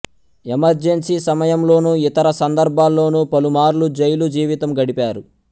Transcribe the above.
emergency సమయంలోను ఇతర సందర్భాల్లోనూ పలుమార్లు జైలు జీవితం గడిపారు